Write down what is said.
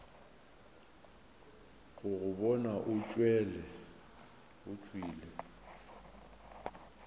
go go bona o tšwele